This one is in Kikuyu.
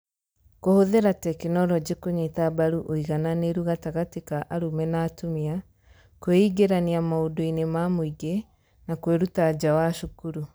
Kũhũthĩra tekinoronjĩ kũnyita mbaru ũigananĩru gatagatĩ ka arũme na atumia, kũingĩrania maũndũ-inĩ ma mũingĩ, na kwĩruta nja wa cukuru